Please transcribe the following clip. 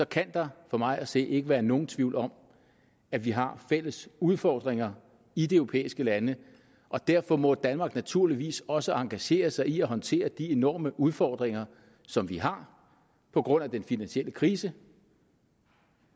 kan der for mig at se ikke være nogen tvivl om at vi har fælles udfordringer i de europæiske lande og derfor må danmark naturligvis også engagere sig i at håndtere de enorme udfordringer som vi har på grund af den finansielle krise